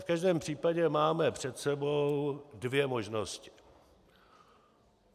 V každém případě máme před sebou dvě možnosti.